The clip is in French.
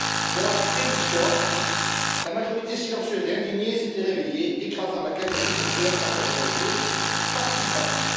Moralité de l'histoire la majorité silencieuse et indignée s'est réveillée, écrasant la cagnotte du boxeur par sa générosité participative.